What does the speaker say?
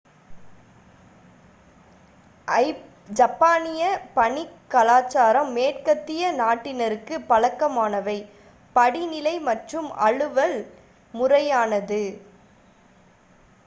ஜப்பானிய பணிக் கலாச்சாரம் மேற்கத்திய நாட்டினருக்குப் பழக்கமானவை படிநிலை மற்றும் அலுவல் முறையானது